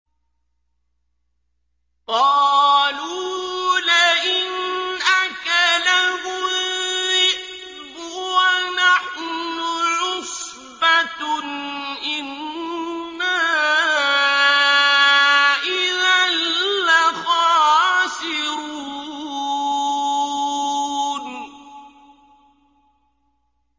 قَالُوا لَئِنْ أَكَلَهُ الذِّئْبُ وَنَحْنُ عُصْبَةٌ إِنَّا إِذًا لَّخَاسِرُونَ